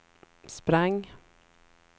sprang